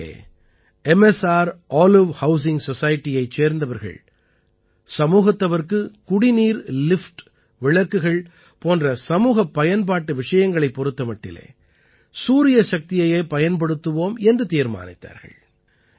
இங்கே ம்ஸ்ரோலைவ் housing society யைச் சேர்ந்தவர்கள் சமூகத்தவர்க்குக் குடிநீர் லிஃப்ட் விளக்குகள் போன்ற சமூகப் பயன்பாட்டு விஷயங்களைப் பொறுத்த மட்டிலே சூரியசக்தியையே பயன்படுத்துவோம் என்று தீர்மானித்தார்கள்